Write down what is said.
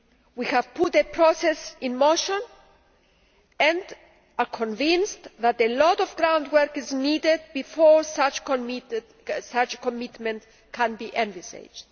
We have put a process in motion and are convinced that a lot of ground work is needed before such a commitment can be envisaged.